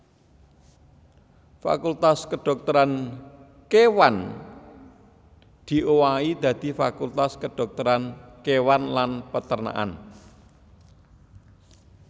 Fakultas Kedhokteran Kéwan diowahi dadi Fakultas Kedhokteran Kéwan lan Peternakan